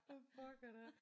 For pokker da